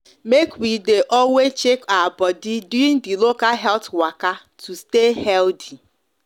make we de always check our body during the local health waka to stay healthy